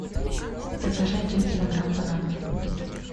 закажи один килограмм бананов